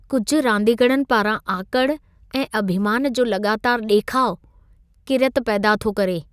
कुझ रांदीगरनि पारां आकड़ ऐं अभिमान जो लॻातारि ॾेखाउ किरियत पैदा थो करे।